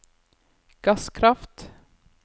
gasskraft